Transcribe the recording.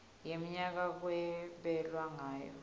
wemnyaka kwabelwa ngayo